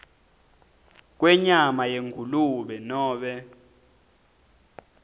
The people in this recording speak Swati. kwenyama yengulube nobe